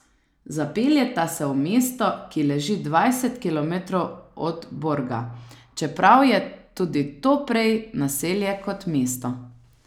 Zapeljeta se v mesto, ki leži dvajset kilometrov od Borga, čeprav je tudi to prej naselje kot mesto.